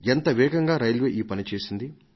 ఎంత వేగంగా రైల్వే ఈ పని చేసింది